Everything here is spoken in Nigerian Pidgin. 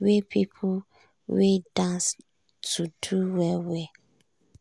wey people wey dance to do well well.